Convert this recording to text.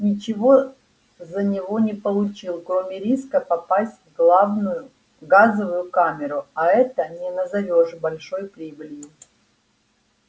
ничего за него не получил кроме риска попасть в главную газовую камеру а это не назовёшь большой прибылью